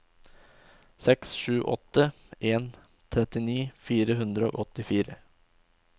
seks sju åtte en trettini fire hundre og åttifire